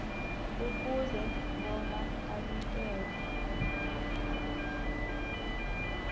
kufuze bona anikelwe